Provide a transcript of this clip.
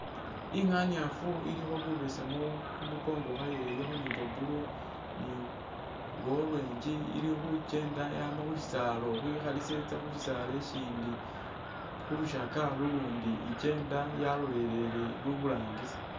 Inganyaafu ilikho bubesemu kumukongo khwayo ilikho ne bwa blue, bwa orange, ilikhukenda yama khusisaala khu khekhalisa khetsa khusisaala ukhundi, khulushaga lulundi ikyenda yalolelela iburangisi.